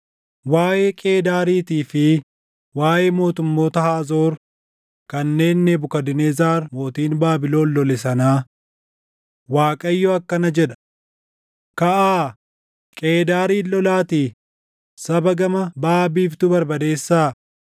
Waaʼee Qeedaariitii fi waaʼee mootummoota Haazoor kanneen Nebukadnezar mootiin Baabilon lole sanaa: Waaqayyo akkana jedha: “Kaʼaa, Qeedaarin lolaatii saba gama Baʼa Biiftuu barbadeessaa.